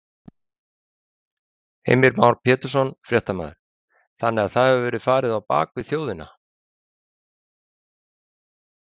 Heimir Már Pétursson, fréttamaður: Þannig að það hefur verið farið á bak við þjóðina?